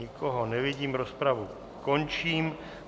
Nikoho nevidím, rozpravu končím.